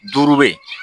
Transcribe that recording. Duuru bɛ ye